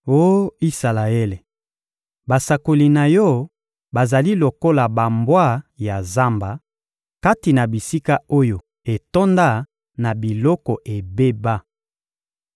Oh Isalaele, basakoli na yo bazali lokola bambwa ya zamba kati na bisika oyo etonda na biloko ebeba.